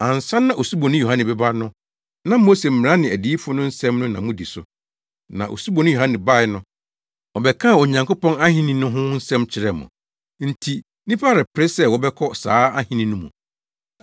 “Ansa na Osuboni Yohane bɛba no na Mose mmara ne adiyifo no nsɛm no na mudi so. Na Osuboni Yohane bae no ɔbɛkaa Onyankopɔn ahenni ho nsɛm kyerɛɛ mo, nti nnipa repere sɛ wɔbɛkɔ saa ahenni no mu.